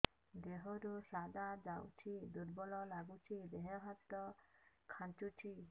ଦେହରୁ ସାଧା ଯାଉଚି ଦୁର୍ବଳ ଲାଗୁଚି ଦେହ ହାତ ଖାନ୍ଚୁଚି